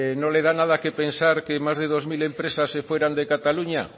no le da nada que pensar que más de dos mil empresas se fueran de cataluña